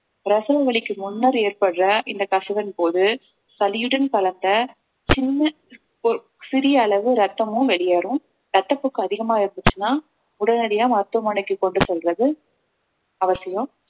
பிரசவ வலிக்கு முன்னர் ஏற்படுற இந்த கசிவின் போது சளியுடன் கலந்த சின்ன ஒ~ சிறிய அளவு ரத்தமும் வெளியேறும் ரத்தப்போக்கு அதிகமா இருந்துச்சுன்னா உடனடியா மருத்துவமனைக்கு கொண்டு செல்றது அவசியம்